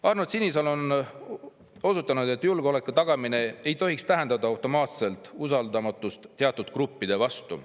Arnold Sinisalu on osutanud, et julgeoleku tagamine ei tohiks tähendada automaatselt usaldamatust teatud gruppide vastu.